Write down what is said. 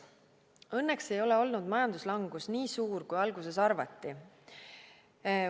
Õnneks ei ole olnud majanduslangus nii suur, kui alguses arvati.